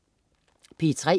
P3: